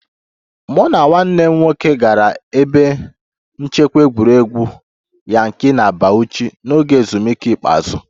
Mụ na nwanne m nwoke gara ebe nchekwa egwuregwu Yankari na Bauchi n'oge ezumike ikpeazụ